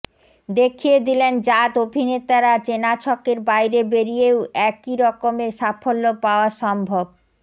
দেখিয়ে দিলেন জাত অভিনেতারা চেনা ছকের বাইরে বেরিয়েও একই রকমের সাফল্য পাওয়া সম্ভব